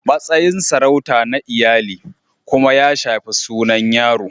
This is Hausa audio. Matsayin sarauta na iyali kuma ya shafi sunan yaron)